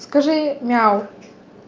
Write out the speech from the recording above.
скажи мяу